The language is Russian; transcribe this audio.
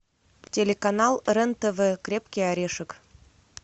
телеканал рен тв крепкий орешек